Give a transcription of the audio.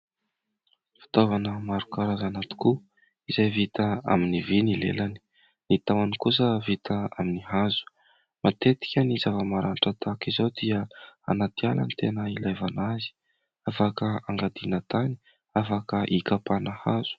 Fitaovana maro karazana tokoa izay vita amin'ny vy ny lelany, ny tahony kosa vita amin'ny hazo, matetika ny zava-maranitra tahaka izao dia anaty ala ny tena ilaivana azy ; afaka angadiana tany afaka hikapana hazo.